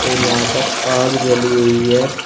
और यहां पर आग जली हुई है।